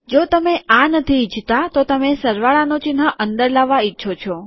જો તમે આ નથી ઈચ્છતા તો તમે સરવાળાનું ચિહ્ન અંદર લાવવા ઈચ્છો છો